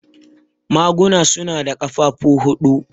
Maguna su na da ƙafafuwa huɗu.